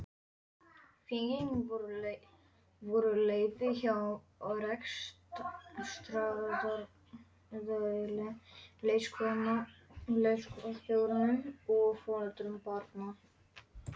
Fengin voru leyfi hjá rekstraraðila leikskólanna, leikskólastjórum og foreldrum barnanna.